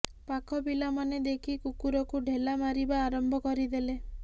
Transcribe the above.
ପାଖ ପିଲା ମାନେ ଦେଖି କୁକୁରକୁ ଢେଲା ମାରିବା ଆରମ୍ଭ କରିଦେଲେ